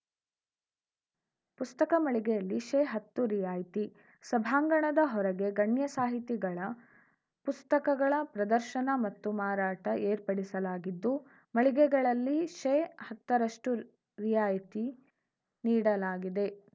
ಪುಸ್ತಕ ಮಳಿಗೆಯಲ್ಲಿ ಶೇಹತ್ತು ರಿಯಾಯ್ತಿ ಸಭಾಂಗಣದ ಹೊರಗೆ ಗಣ್ಯ ಸಾಹಿತಿಗಳ ಪುಸ್ತಕಗಳ ಪ್ರದರ್ಶನ ಮತ್ತು ಮಾರಾಟ ಏರ್ಪಡಿಸಲಾಗಿದ್ದು ಮಳಿಗೆಗಳಲ್ಲಿ ಶೇಹತ್ತರಷ್ಟುರಿಯಾಯ್ತಿ ನೀಡಲಾಗಿದೆ